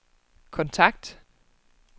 kontakt